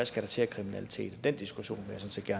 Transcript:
skal til af kriminalitet den diskussion